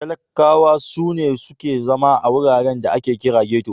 Talakkawa su ne suke zama a wuraren da ake kira da Geto.